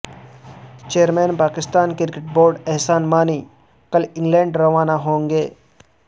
chairman Pakistan cricket board Ehsan Mani کل England روانہ ہوں گے